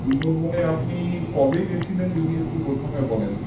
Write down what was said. সুন্দরবনে আপনি কবে গেছিলেন যদি একটু প্রথমে বলেন